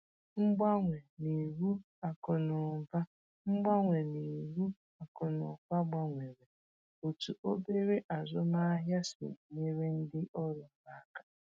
Mgbanwe n’iwu akụnụba Mgbanwe n’iwu akụnụba gbanwere otú obere azụmahịa si e nyere ndị ọrụ ha aka.